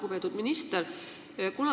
Lugupeetud minister!